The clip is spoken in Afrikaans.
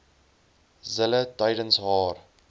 zille tydens haar